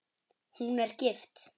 Hún er gift.